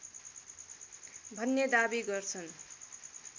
भन्ने दावी गर्छन्